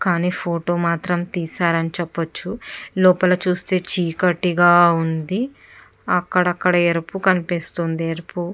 కానీ ఫోటో మాత్రం తీసారని చూపొచ్చు లోపల మాత్రం చీకటిగా ఉంది అక్కడ అక్కడ ఎరుపు కనిపిస్తుంది ఎరుపు.